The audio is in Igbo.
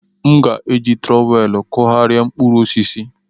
M ga-eji trowel kụgharịa mkpụrụ osisi.